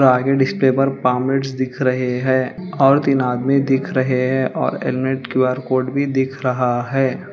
आगे डिस्प्ले पर पामलेट्स दिख रहे हैं और तीन आदमी दिख रहे हैं और हेलमेट क्यू_आर कोड भी दिख रहा है।